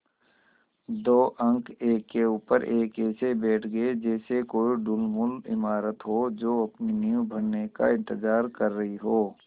दो अंक एक के ऊपर एक ऐसे बैठ गये जैसे कोई ढुलमुल इमारत हो जो अपनी नींव भरने का इन्तज़ार कर रही हो